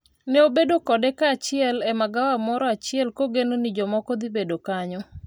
ne obedo kode kaachiel e magawa moro achiel kogeno ni jomoko dhibedo kanyo